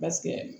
Basigi